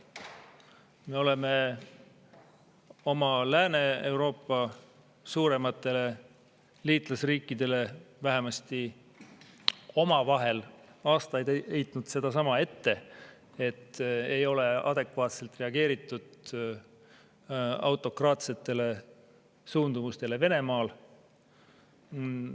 Me oleme oma suurematele liitlasriikidele Lääne-Euroopas vähemasti omavahel aastaid heitnud sedasama ette, et ei ole adekvaatselt reageeritud autokraatsetele suundumustele Venemaal.